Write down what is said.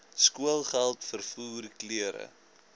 skoolgeld vervoer klere